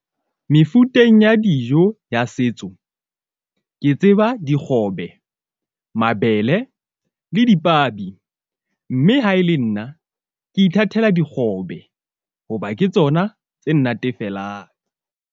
Mefuteng ya dijo ya setso ke tseba dikgobe, mabele le dipabi. Mme ha e le nna ke ithatela dikgobe hoba ke tsona tse nnatefelang.